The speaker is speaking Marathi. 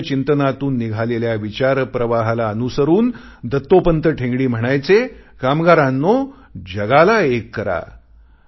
भारतीय चिंतनातून निघालेल्या विचारप्रवाहाला अनुसरून दत्तोपंत ठेंगडी म्हणायचे कामगारांनो जगाला एक करा